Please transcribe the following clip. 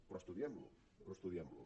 però estudiem lo estudiem lo